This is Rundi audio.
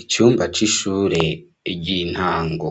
Icumba c'ishure ry'intango,